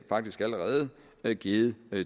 faktisk allerede givet